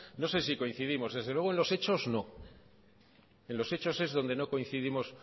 no sé si coincidimos desde luego en los hecho no en los hechos es donde no coincidimos